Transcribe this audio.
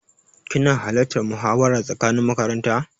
Kina halartan muhawara tsakanin makaranta?